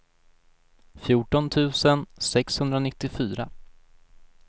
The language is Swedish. fjorton tusen sexhundranittiofyra